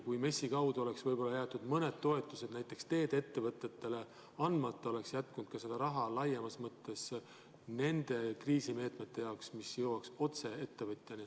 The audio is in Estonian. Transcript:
Kui MES-i kaudu oleks võib-olla jäetud mõned toetused näiteks teede-ettevõtetele andmata, oleks jätkunud raha ka laiemas mõttes kriisimeetmete jaoks, mis jõuaks otse ettevõtjani.